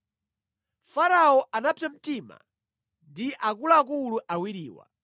Farao anapsa mtima ndi akuluakulu awiriwa,